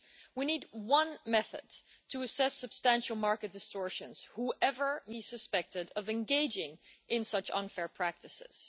We need one method to assess substantial market distortions, whoever may be suspected of engaging in such unfair practices.